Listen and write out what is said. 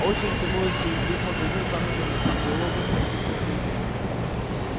очередь тянулась через весь магазин в самый конец где локонс подписывал свои книги